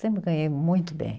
Sempre ganhei muito bem.